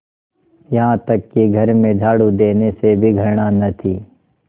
यहाँ तक कि घर में झाड़ू देने से भी घृणा न थी